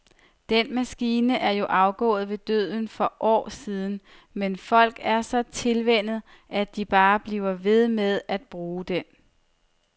Den maskine er jo afgået ved døden for år siden, men folk er så tilvænnet, at de bare bliver ved med at bruge den.